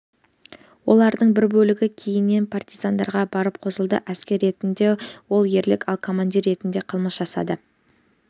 олардың бір бөлігі кейіннен партизандарға барып қосылды әскер ретінде ол ерлік ал командир ретінде қылмыс жасады